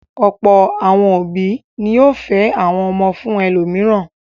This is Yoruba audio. Ọ̀pọ̀ àwọn òbí ni yóò fẹ́ àwọn ọmọ fún ẹlòmíràn.